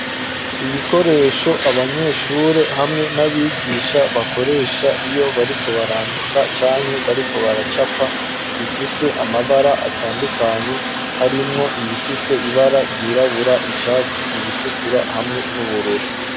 Ibikoresho abanyeshuri hamwe n'abigisha bakoresha iyo bariko barandika canke bariko baracapa bifise amabara atandukanye harimwo ibifise ibara ryirabura, icatsi, iritukura hamwe n'ubururu.